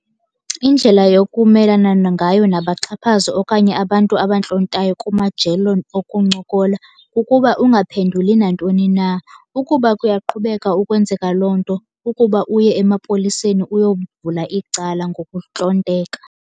Indlela yokumelana ngayo nabaxhaphazi okanye abantu abantlontayo kumajelo okuncokola kukuba ungaphenduli nantoni na. Ukuba kuyaqhubeka ukwenzeka loo nto kukuba uye emapoliseni uyovula icala ngokuntlonteka.